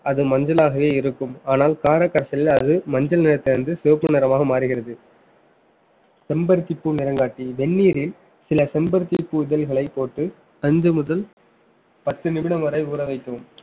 அது மஞ்சளாகவே இருக்கும் ஆனால் கார காய்ச்சலில் அது மஞ்சள் நிறத்தை வந்து சிவப்பு நிறமாக மாறுகிறது செம்பருத்திப் பூ நிறங்காட்டி வெந்நீரில் சில செம்பருத்திப் பூ இதழ்களைப் போட்டு அஞ்சு முதல் பத்து நிமிடம் வரை ஊற வைக்கவும்